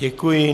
Děkuji.